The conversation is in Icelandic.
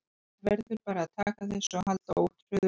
En maður verður bara að taka þessu og halda ótrauður áfram.